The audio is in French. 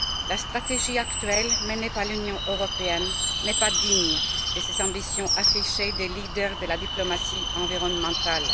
La stratégie actuelle menée par l'Union européenne n'est pas digne des ambitions affichées par les leaders de la diplomatie environnementale.